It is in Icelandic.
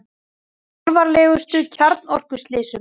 Með alvarlegustu kjarnorkuslysum